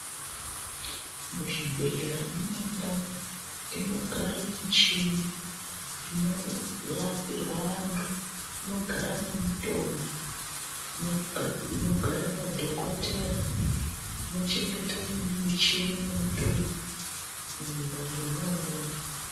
Muzvibhehlera munendau inogare muchini, inorapirwa antu, munogara nemutombo inogara madhokotera anochengete muchini nemutombo mwona umwomwo.